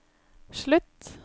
slutt